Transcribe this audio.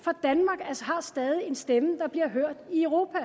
og stadig en stemme der bliver hørt i europa